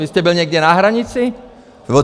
Vy jste byl někde na hranici?